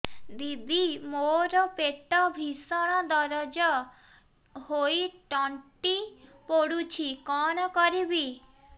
ଦିଦି ମୋର ପେଟ ଭୀଷଣ ଦରଜ ହୋଇ ତଣ୍ଟି ପୋଡୁଛି କଣ କରିବି